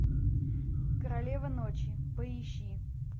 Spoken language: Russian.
королева ночи поищи